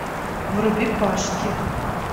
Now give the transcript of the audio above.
вруби пашки